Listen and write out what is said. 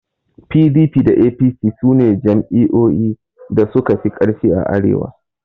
PDP da APC sune jam'iyyoyi da suka fi ƙarfi a arewa.